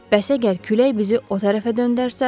Bəs əgər külək bizi o tərəfə döndərsə?